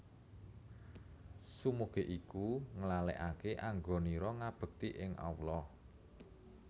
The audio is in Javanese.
Sumugih iku nglalekake anggonira ngabekti ing Allah